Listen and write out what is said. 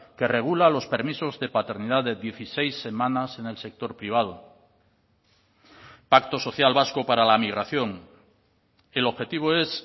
que regula los permisos de paternidad de dieciséis semanas en el sector privado pacto social vasco para la migración el objetivo es